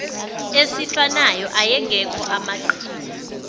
esifanayo ayengekho amaqhinga